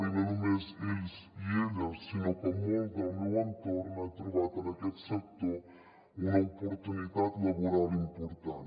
i no només ells i elles sinó que molt del meu entorn ha trobat en aquest sector una oportunitat laboral important